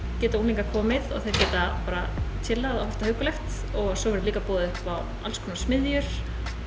geta unglingar komið og þeir geta bara chillað og haft það huggulegt og svo verður líka boðið upp á alls konar smiðjur